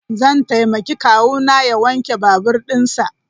Zan taimaki kawuna ya wanke babur dinsa.